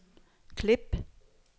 klip